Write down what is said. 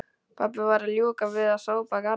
Pabbi var að ljúka við að sópa garðann.